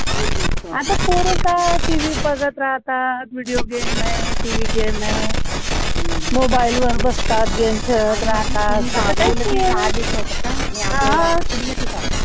आता पोर काय tv बघत राहतात, video game नाय tv game नाय mobile वर बसतात game खेळत